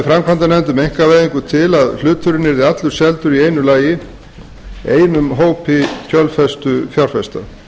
framkvæmdanefnd um einkavæðingu til að hluturinn yrði aftur seldur í einum lagi einum hópi kjölfestufjárfesta